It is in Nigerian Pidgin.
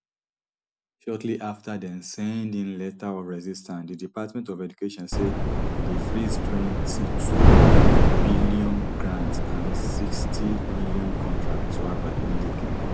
shortly afta dem send im letter of resistance di department of education say e dey freez twenty-twobn grants and sixtym contracts to harvard immediately